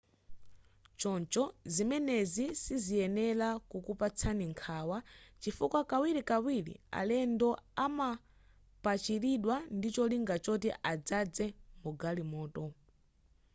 choncho zimenezi siziyenera kukupatsani nkhawa chifukwa kawirikawiri alendo amapachiridwa ndicholinga choti adzaze m'magalimoto